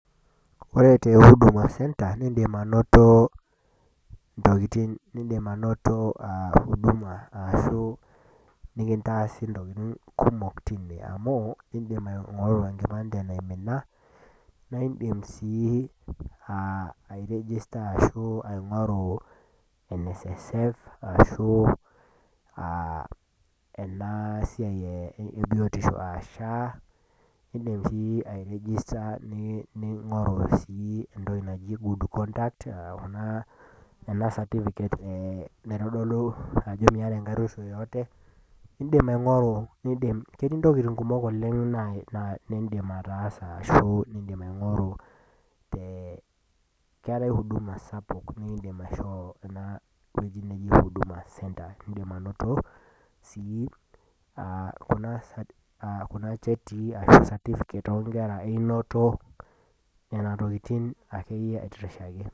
Ore te Huduma center, indim ainoto intokitin niindim ainoto Huduma nekintaasi intokitin kumok amu, indim aing'oru enkipande naimina, naa indim sii airejista anaa aing'oru NSSF, arashu ena siai e e biotisho aa SHA, indim sii airejista ningoru sii entoki naji good conduct ashu naa ena certificate naitodolu ajo miata enkaruoisho yoyote . Ketii intokitin kumok oleng' niindim ataasa ashu aing'oru, keatai Huduma sapuk niindim aing'oru te ewueji naji Huduma center. Indim ainoto sii Kuna chetii ashu certificate oo nkera, einoto Nena tokitin ake iyie aitirishaki.